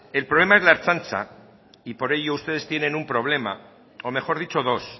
el problema es la ertzaintza y por ello ustedes tienen un problema o mejor dicho dos